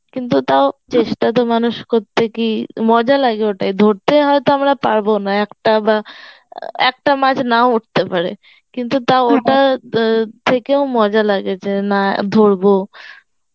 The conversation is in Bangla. কিন্তু দাও চেষ্টা তো মানুষ করতে কি মজা লাগে ওটাই ধরতে হয়েত আমরা পারবো না একটা বা একটা মাছ নাও উঠতে পারে কিন্তু তাও থেকেও মজা লাগে যে না ধরবো